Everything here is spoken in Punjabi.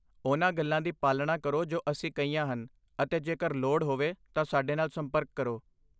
ਉਹਨਾਂ ਗੱਲਾਂ ਦੀ ਪਾਲਣਾ ਕਰੋ ਜੋ ਅਸੀਂ ਕਹੀਆਂ ਹਨ ਅਤੇ ਜੇਕਰ ਲੋੜ ਹੋਵੇ ਤਾਂ ਸਾਡੇ ਨਾਲ ਸੰਪਰਕ ਕਰੋ।